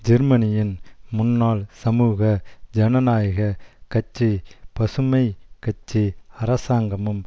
ஜெர்மனியின் முன்னாள் சமூக ஜனநாயக கட்சிபசுமை கட்சி அரசாங்கமும்